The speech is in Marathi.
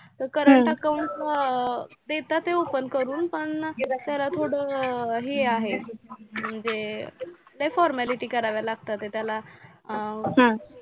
current account ला अं देतात आहे open करून पण जरा थोडं हे आहे म्हणजे लय formality कराव्या लागतात आहे त्याला अं